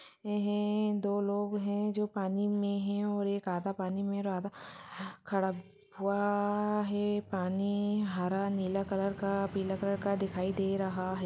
एहें दो लोग है जो पानी मे है और एक आधा पानी मे है और आधा खड़ा हुआ है पानी हरा नीला कलर का पीला कलर का दिखाई दे रहा है।